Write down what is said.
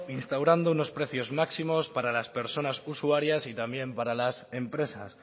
instaurando unos precios máximos para las personas usuarias y también para las empresas